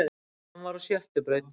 Hann var á sjöttu braut